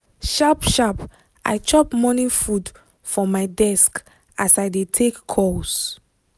sharp sharp i chop morning food for my desk as i dey take calls